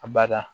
A bada